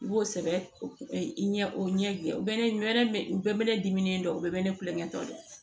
I b'o sɛbɛn i ɲɛ o ɲɛ bɛɛ bɛ ne dimi dɔn bɛɛ bɛ ne kulonkɛ dɔn